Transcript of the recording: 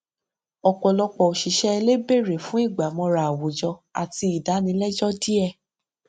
ọpọlọpọ òṣìṣẹ ilé bèrè fún ìgbàmọra àwùjọ àti ìdánilẹjọ díẹ